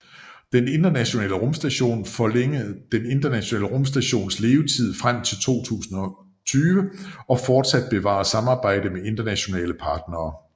Den Internationale Rumstation Forlænge Den Internationale Rumstations levetid frem til 2020 og forsat bevare samarbejde med internationale partnere